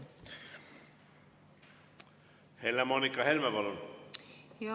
Helle-Moonika Helme, palun!